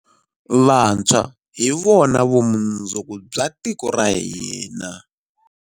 Vantshwa hi vona vumundzuku bya tiko ra hina.